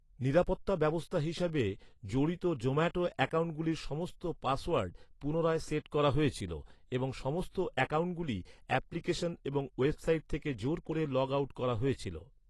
নিরাপত্তা ব্যবস্থা হিসাবে, জড়িত জোম্যাটো অ্যাকাউন্টগুলির সমস্ত পাসওয়ার্ড পুনরায় সেট করা হয়েছিল এবং সমস্ত অ্যাকাউন্টগুলি অ্যাপ্লিকেশন এবং ওয়েবসাইট থেকে জোর করে লগ আউট করা হয়েছিল।